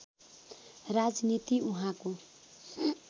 राजनीति उहाँको